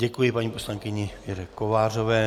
Děkuji paní poslankyni Věře Kovářové.